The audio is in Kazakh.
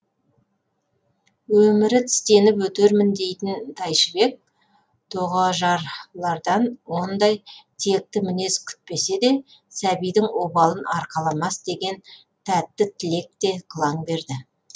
өмірі тістеніп өтермін дейтін тайшыбек тоғажарлардан ондай текті мінез күтпесе де сәбидің обалын арқаламас деген тәтті тілек те қылаң берді